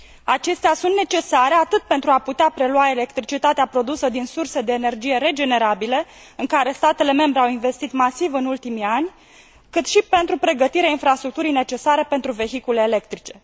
Acestea sunt necesare atât pentru a putea prelua electricitatea produsă din surse de energie regenerabile, în care statele membre au investit masiv în ultimii ani, cât și pentru pregătirea infrastructurii necesare pentru vehiculele electrice.